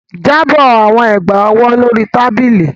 Drop the bangles on the table